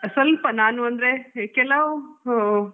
ಸ್ವಲ್ಪ ನಾನ್ ಅಂದ್ರೆ ಕೆಲವ್ ಹ್ಮ್.